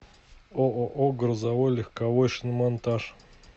ооо грузовой легковой шиномонтаж